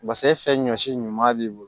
pase fɛn fɛn ɲɔsi ɲuman b'i bolo